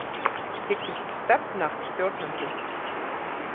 Hyggst stefna stjórnendum